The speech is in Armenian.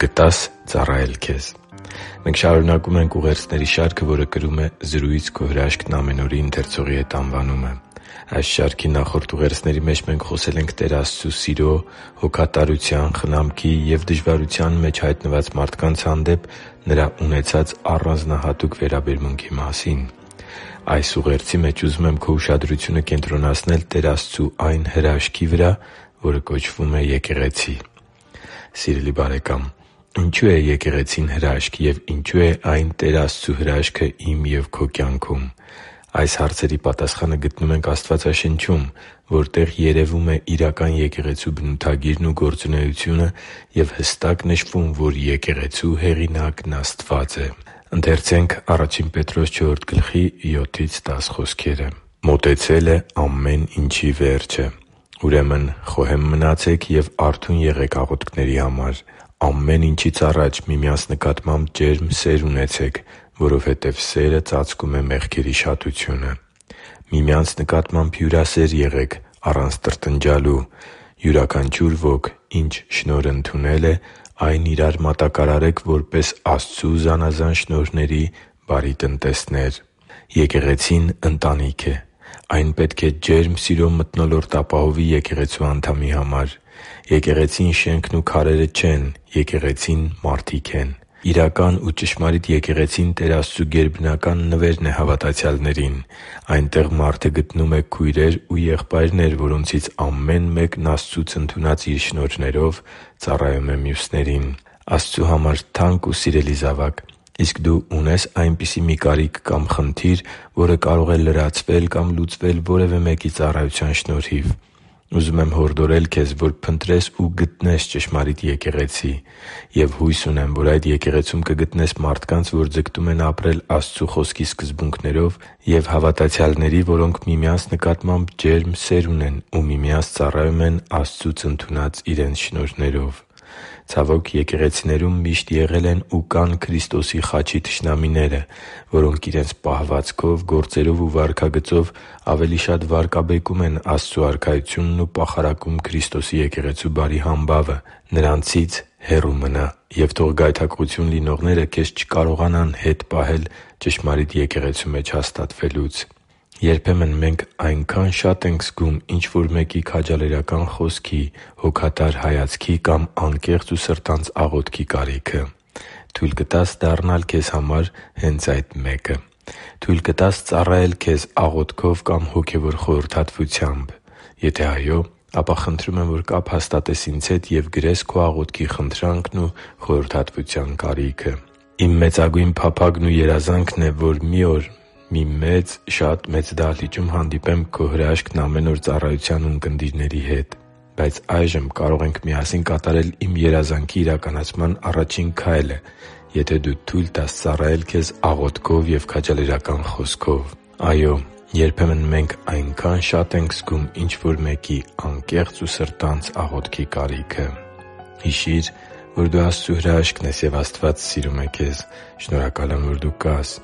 կտա՞ս ծառայել քեզ Մենք շարունակում ենք ուղերձների շարքը, որը կրում է «Զրույց«Քո հրաշքն՝ ամեն օր»-ի ընթերցողի հետ» անվանումը։ Այս շարքի նախորդ ուղերձների մեջ մենք խոսել ենք Տեր Աստծու սիրո, հոգատարության, խնամքի և դժվարության մեջ հայտնված մարդկանց հանդեպ Նրա ունեցած առանձնահատուկ վերաբերմունքի մասին։ Այս ուղերձի մեջ ուզում եմ քո ուշադրությունը կենտրոնացնել Տեր Աստծու այն հրաշքի վրա, որը կոչվում է Եկեղեցի։ Սիրելի՛ բարեկամ, ինչո՞ւ է Եկեղեցին հրաշք և ինչո՞ւ է այն Տեր Աստծու հրաշքը իմ և քո կյանքում։ Այս հարցերի պատասխանը գտնում ենք Աստվածաշնչում, որտեղ երևում է իրական եկեղեցու բնութագիրն ու գործունեությունը և հստակ նշվում, որ Եկեղեցու հեղինակն Աստված է։ «Մոտեցել է ամեն ինչի վերջը, ուրեմն խոհե՛մ մնացեք և արթո՛ւն եղեք աղոթքների համար։ Ամեն ինչից առաջ միմյանց նկատմամբ ջերմ սե՛ր ունեցեք, որովհետև սերը ծածկում է մեղքերի շատությունը։ Միմյանց նկատմամբ հյուրասե՛ր եղեք՝ առանց տրտնջալու։ Յուրաքանչյուր ոք ինչ շնորհ ընդունել է, այն իրա՛ր մատակարարեք որպես Աստծու զանազան շնորհների բարի տնտեսներ» (Ա Պետրոս 4.7-10): Եկեղեցին ընտանիք է։ Այն պետք է ջերմ սիրո մթնոլորտ ապահովի եկեղեցու անդամի համար։ Եկեղեցին շենքն ու քարերը չեն։ Եկեղեցին մարդիկ են։ Իրական ու ճշմարիտ եկեղեցին Տեր Աստծու գերբնական նվերն է հավատացյալներին։ Այնտեղ մարդը գտնում է քույրեր ու եղբայրներ, որոնցից ամեն մեկն Աստծուց ընդունած իր շնորհներով ծառայում է մյուսներին։ Աստծու համար թանկ ու սիրելի՛ զավակ, իսկ դու ունե՞ս այնպիսի մի կարիք կամ խնդիր, որը կարող է լրացվել կամ լուծվել որևէ մեկի ծառայության շնորհիվ։ Ուզում եմ հորդորել քեզ, որ փնտրես ու գտնես ճշմարիտ եկեղեցի։ Եվ հույս ունեմ, որ այդ եկեղեցում կգտնես մարդկանց, որ ձգտում են ապրել Աստծու Խոսքի սկզբունքներով և հավատացյալների, որոնք միմյանց նկատմամբ ջերմ սեր ունեն ու միմյանց ծառայում են Աստծուց ընդունած իրենց շնորհներով։ Ցավոք, եկեղեցիներում միշտ եղել են ու կան Քրիստոսի խաչի թշնամիները, որոնք իրենց պահվածքով, գործերով ու վարքագծով ավելի շատ վարկաբեկում են Աստծու Արքայությունն ու պախարակում Քրիստոսի եկեղեցու բարի համբավը։ Նրանցից հեռու մնա՛, և թող գայթակղություն լինողները քեզ չկարողանան հետ պահել ճշմարիտ եկեղեցու մեջ հաստատվելուց։ Երբեմն մենք այնքա՜ն շատ ենք զգում ինչ-որ մեկի քաջալերական խոսքի, հոգատար հայացքի կամ անկեղծ ու սրտանց աղոթքի կարիքը․․․ Թույլ կտա՞ս դառնալ քեզ համար հե՛նց այդ մեկը։ Թույլ կտա՞ս ծառայել քեզ աղոթքով կամ հոգևոր խորհրդատվությամբ։ Եթե այո, ապա խնդրում եմ, որ կապ հաստատես ինձ հետ և գրես քո աղոթքի խնդրանքն ու խորհրդատվության կարիքը։ Իմ մեծագույն փափագն է ու երազանքը, որ մի օր մի մեծ, շատ մեծ դահլիճում հանդիպեմ «Քո հրաշքն՝ ամեն օր»ծառայության ունկնդիրների հետ։ Բայց այժմ կարող ենք միասին կատարել իմ երազանքի իրականացման առաջին քայլը, եթե դու թույլ տաս ծառայել քեզ աղոթքով և քաջալերական խոսքով։ Այո՛, երբեմն մենք այնքա՜ն շատ ենք զգում ինչ-որ մեկի անկեղծ ու սրտանց աղոթքի կարիքը․․․ Հիշի՛ր, որ դու Աստծո հրաշքն ես, և Աստված սիրում է քեզ։ Շնորհակալ եմ, որ դու կա՛ս